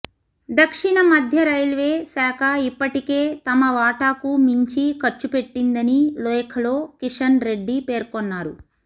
దక్షిణ మధ్య రైల్వే శాఖ ఇప్పటికే తమ వాటాకు మించి ఖర్చు పెట్టిందని లేఖలో కిషన్ రెడ్డి పేర్కొన్నారు